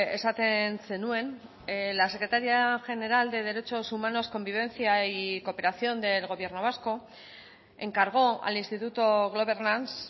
esaten zenuen la secretaria general de derechos humanos convivencia y cooperación del gobierno vasco encargó al instituto globernance